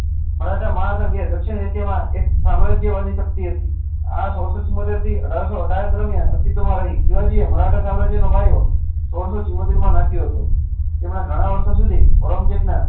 દક્ષીણ એશિયા માં એક સામ્રાજ્ય વાદ શક્તિ હતીં આ સોળ સો ચુમોતેર થી અઠારસો દરમિયાન અસ્તિત્વ માં રહી મરાઠા સામ્રાજ નો પાયો સોળ સો ચુમોતેર માં નાખ્યો હતો અમને ગણા વર્ષો સુધિઓ